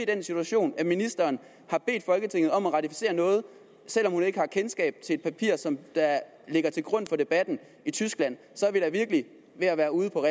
den situation at ministeren har bedt folketinget om at ratificere noget selv om hun ikke har kendskab til et papir som ligger til grund for debatten i tyskland så er vi da virkelig ved at være ude på